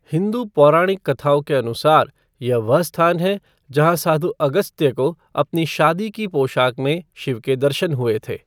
हिंदू पौराणिक कथाओं के अनुसार, यह वह स्थान है जहाँ साधू अगस्त्य को अपनी शादी की पोशाक में शिव के दर्शन हुए थे।